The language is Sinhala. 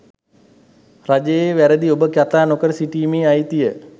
රජයේ වැරදි ඔබ කතා නොකර සිටීමේ අයිතිය